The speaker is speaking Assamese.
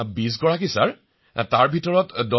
শ্ৰী হৰি জি বিঃ আমি ২০জন আছিলো মহাশয়